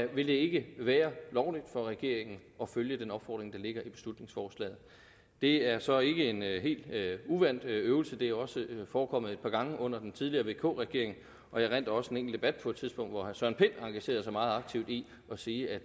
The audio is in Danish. vil det ikke være lovligt for regeringen at følge den opfordring der ligger i beslutningsforslaget det er så ikke en helt uvant øvelse det har også forekommet et par gange under den tidligere vk regering og jeg erindrer også en enkelt debat på et tidspunkt hvor herre søren pind engagerede sig meget aktivt i at sige at